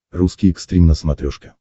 русский экстрим на смотрешке